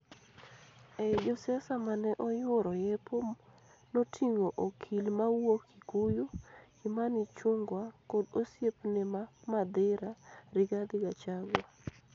Ei josiasa mane oyuoro yepo noting'o okil mawuok Kikuyu, Kimani Ichung'wa kod osiepne ma Mathira, Rigathi Gachagua.